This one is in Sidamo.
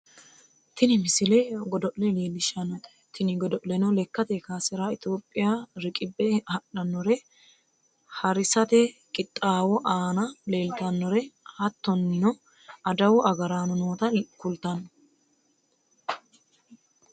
tini misile godo'le leellishshannote tini godo'leno lekkate kaasera itiyophiya riqibbe hadhannore harisate qixxaawo aana leeltinore hattonio adawu agaraano noota kultannote